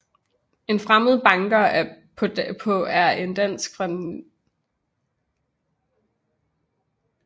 En fremmed banker på er en dansk film fra 1959